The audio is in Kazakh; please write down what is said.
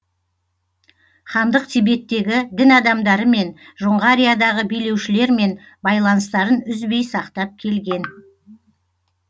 хандық тибеттегі дін адамдарымен жоңғариядағы билеушілермен байланыстарын үзбей сақтап келген